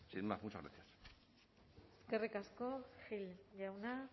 sin más muchas gracias eskerrik asko gil jauna